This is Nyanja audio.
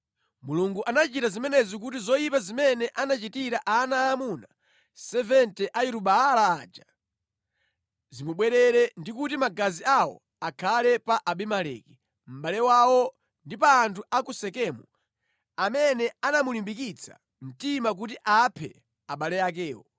Mulungu anachita zimenezi kuti zoyipa zimene anachitira ana aamuna 70 a Yeru-Baala aja zimubwerere, ndi kuti magazi awo akhale pa Abimeleki mʼbale wawo ndi pa anthu a ku Sekemu amene anamulimbikitsa mtima kuti aphe abale akewo.